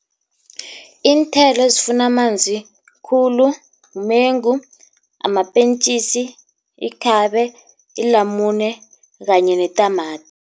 Iinthelo ezifuna amanzi khulu mumengu, mapentjisi, ikhabe, ilamune kanye netamati.